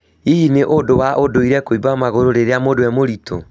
Hihi nĩ ũndũ wa ũndũire kũiba magũrũ rĩrĩa mũndũ e mũritũ